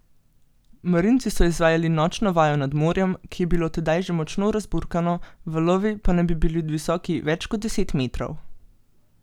Marinci so izvajali nočno vajo nad morjem, ki je bilo tedaj že močno razburkano, valovi pa naj bi bili visoki več kot deset metrov.